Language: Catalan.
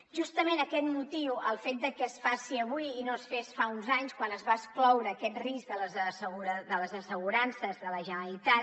justament aquest motiu el fet de que es faci avui i no es fes fa uns anys quan es va excloure aquest risc de les assegurances de la generalitat